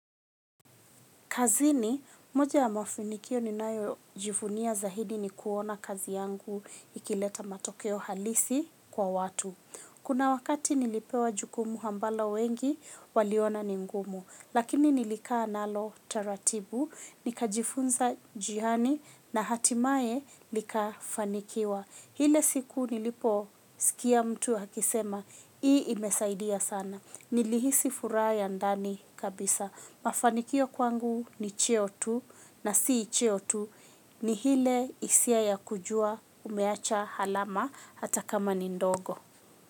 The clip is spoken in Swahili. Kazini, moja ya mafinikio ni nayo jivunia zaidi ni kuona kazi yangu ikileta matokeo halisi kwa watu. Kuna wakati nilipewa jukumu ambalo wengi, waliona ni ngumu. Lakini nilikaa nalo taratibu nikajifunza njiani na hatimaye likafanikiwa ile siku niliposikia mtu akisema, hii imesaidia sana. Nilihisi furaha ya ndani kabisa. Mafanikio kwangu ni cheo tu na si cheo tu ni ile isia ya kujua umeacha alama ata kama ni ndogo.